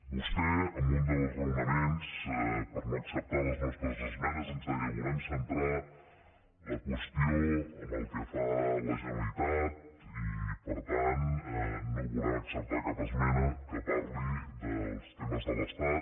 vostè en un dels raonaments per no acceptar les nostres esmenes ens deia volem centrar la qüestió en el que fa a la generalitat i per tant no volem acceptar cap esmena que parli dels temes de l’estat